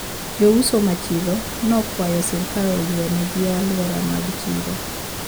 Jouso ma chiro no okwayo sirkal oywe ne gi aluora mag chiro